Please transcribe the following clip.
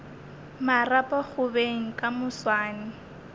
marapo go beng ka moswane